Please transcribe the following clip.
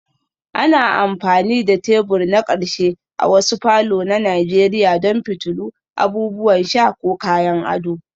Ana amfani da tebur na ƙarshe a wasu falor na nigeria don fitilu, abubuwan sha ko kayan ado